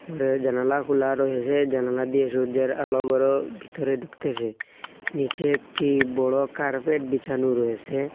ঘরের জানালা খুলা রয়েসে জানালা দিয়ে সূর্যের আলো ঘরোর ভিতরে ঢুকতেসে নীচে একটি বড়ো কার্পেট বিছানো রয়েসে ।